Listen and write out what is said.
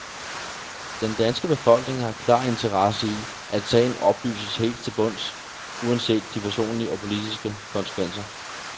Den danske befolkning har en klar interesse i, at sagen oplyses helt til bunds uanset de personlige og politiske konsekvenser.